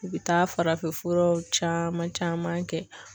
I bɛ taa farafinfuraw caman caman kɛ.